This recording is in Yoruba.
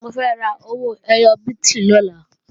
Mo fẹ́ ra owó ẹyọ bíìtì lọ́la